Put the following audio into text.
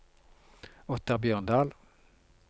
Ottar Bjørndal